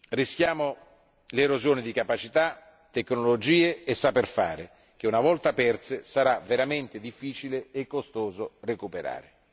Rischiamo l'erosione di capacità, tecnologie e saper fare che, una volta perse, sarà veramente difficile e costoso recuperare.